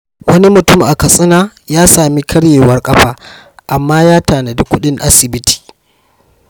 Wani mutum a Katsina ya sami karyewar kafa, amma ya tanadi kudin asibiti.